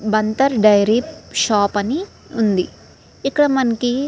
Dairy shop అని ఉంది. ఇక్కడ మనకి --